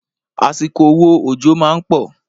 Àsìkò wo òjò má ń pọ̀?